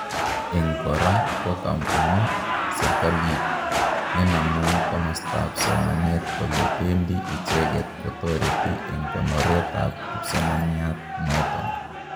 En kora, ko komwa sirkaliit nenamu komastab somanet kole bendi icheket kotoreti en konoret ab kipsomaniat noton